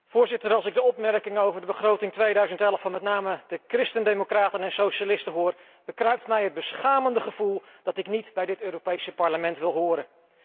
Voorzitter, als ik de opmerkingen over de begroting 2011 van met name de Christen democraten en Socialisten hoor, bekruipt mij het beschamende gevoel dat ik niet bij dit Europees Parlement wil horen.